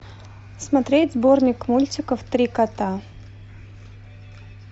смотреть сборник мультиков три кота